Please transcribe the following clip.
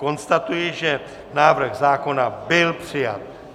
Konstatuji, že návrh zákona byl přijat.